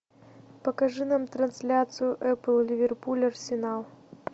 покажи нам трансляцию апл ливерпуль арсенал